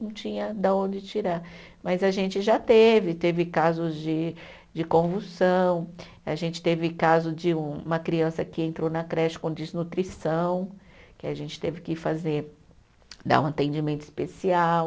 Não tinha da onde tirar, mas a gente já teve, teve casos de de convulsão, a gente teve caso de um uma criança que entrou na creche com desnutrição, que a gente teve que fazer, dar um atendimento especial.